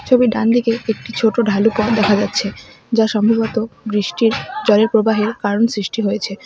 ছবির ডান দিকে একটি ছোট ঢালু পথ দেখা যাচ্ছে যা সম্ভবত বৃষ্টির জলের প্রবাহের কারণ সৃষ্টি হয়েছে।